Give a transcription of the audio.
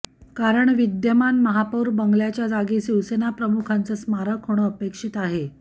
कारण विद्यमान महापौर बंगल्याच्या जागी शिवसेनाप्रमुखांचं स्मारक होणं अपेक्षित आहे